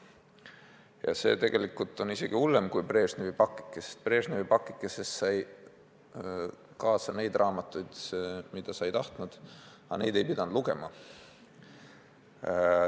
Ja see lahendus on isegi hullem kui Brežnevi pakike, sest Brežnevi pakikeses sai kaasa raamatuid, mida sa ei tahtnud, ent neid ei pidanud lugema.